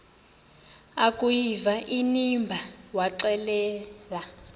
akuyiva inimba waxelela